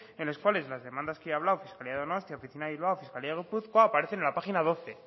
en los cuales las demandas que ha hablado fiscalía de donostia oficina de bilbao fiscalía de gipuzkoa aparecen en la página doce